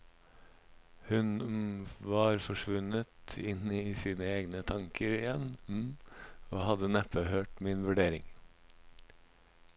Hun var forsvunnet inn i sine egne tanker igjen og hadde neppe hørt min vurdering.